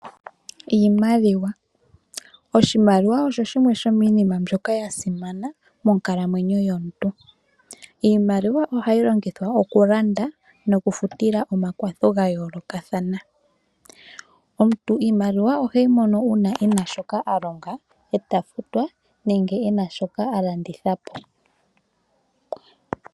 Iimaliwa, oshimaliwa osho shimwe shomiinima mbyoka yasimana monkalamwenyo yomuntu. Iimaliwa ohayi longithwa okulanda nokufutila omakwatho gayoolokathana. Omuntu iimaliwa oheyi mono uuna ena shoka alonga eta futwa nenge ena shoka alanditha po.